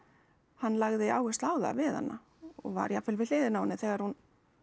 hann lagði áherslu á það við hana og var jafnvel við hliðina á henni þegar hún